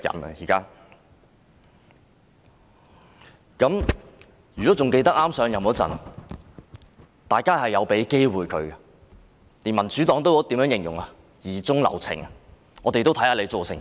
還記得她上任之初，大家曾給予她機會，連民主黨也形容為疑中留情，想先看看她的表現。